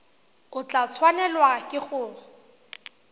o tla tshwanelwa ke go